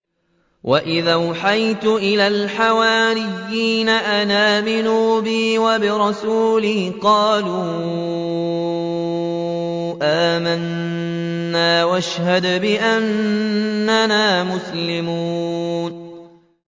وَإِذْ أَوْحَيْتُ إِلَى الْحَوَارِيِّينَ أَنْ آمِنُوا بِي وَبِرَسُولِي قَالُوا آمَنَّا وَاشْهَدْ بِأَنَّنَا مُسْلِمُونَ